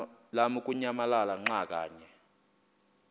lamukunyamalala xa kanye